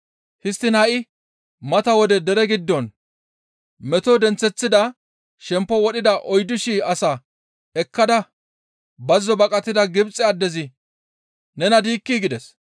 Histtiin ha7i mata wode dere giddon meto denththeththada shemppo wodhida oyddu shii asaa ekkada bazzo baqatida Gibxe addezi nena diikkii?» gides.